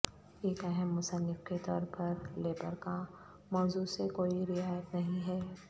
ایک اہم مصنف کے طور پر لیبر کا موضوع سے کوئی رعایت نہیں ہے